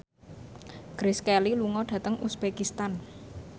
Grace Kelly lunga dhateng uzbekistan